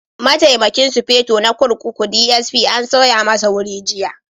Mataimakin Sufeto na kurkuku (DSP) an sauya masa wuri jiya.